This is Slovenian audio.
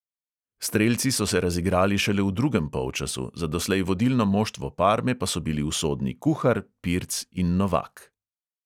Strelci so se razigrali šele v drugem polčasu, za doslej vodilno moštvo parme pa so bili usodni kuhar, pirc in novak.